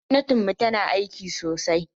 Gwamnatinmu tana aiki sosai.